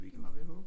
Må vi håbe